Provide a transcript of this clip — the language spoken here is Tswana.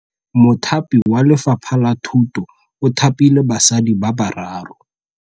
Mothapi wa Lefapha la Thutô o thapile basadi ba ba raro.